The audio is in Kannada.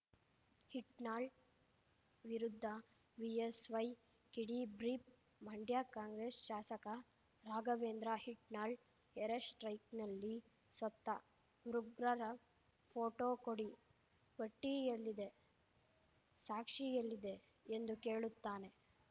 ಹಿಟ್ನಾಳ್ ವಿರುದ್ಧ ಬಿಎಸ್‌ವೈ ಕಿಡಿ ಬ್ರೀಫ್‌ ಮಂಡ್ಯ ಕಾಂಗ್ರೆಸ್‌ ಶಾಸಕ ರಾಘವೇಂದ್ರ ಹಿಟ್ನಾಳ್‌ ಏರ್‌ಸ್ಟ್ರೈಕ್‌ನಲ್ಲಿ ಸತ್ತ ಉಗ್ರರ ಫೋಟೋ ಕೊಡಿ ಪಟ್ಟಿಎಲ್ಲಿದೆ ಸಾಕ್ಷಿ ಎಲ್ಲಿದೆ ಎಂದು ಕೇಳುತ್ತಾನೆ